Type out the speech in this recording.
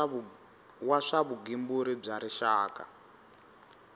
wa swa vugembuli bya rixaka